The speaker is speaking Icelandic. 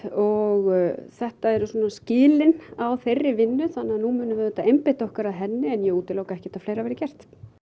og þetta eru svona skilin á þeirri vinnu þannig að nú munum við auðvitað einbeita okkur að henni en ég útiloka ekkert að fleira verði gert